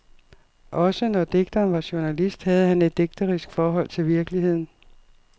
Også når digteren var journalist, havde han et digterisk forhold til virkeligheden.